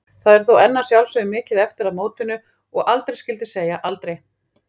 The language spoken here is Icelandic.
Það er þó enn að sjálfsögðu mikið eftir að mótinu og aldrei skyldi segja aldrei.